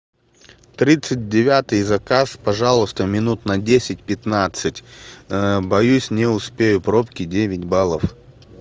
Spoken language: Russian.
тридцать девятый заказ пожалуйста минут на десять пятнадцать боюсь не успею пробки девять баллов